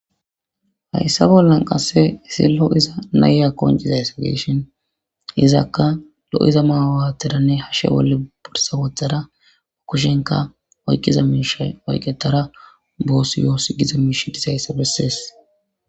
Hayssa bollan qasse isillo iza naya konciza esogeshon izakka lo'iza maawaatteranne hashshe wolle borsa wothada ba kushenka oykkiza miishay oyqetara boosi yoos giza miishi disayssa bessees.